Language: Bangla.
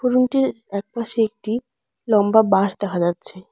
রুমটির একপাশে একটি লম্বা বাঁশ দেখা যাচ্ছে।